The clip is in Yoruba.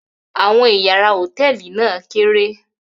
Àwọn ìyàrá hòtẹ́ẹ́lì náà kéré.